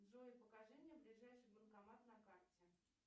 джой покажи мне ближайший банкомат на карте